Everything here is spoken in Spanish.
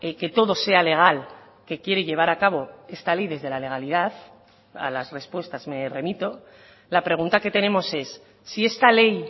que todo sea legal que quiere llevar a cabo esta ley desde la legalidad a las respuestas me remito la pregunta que tenemos es si esta ley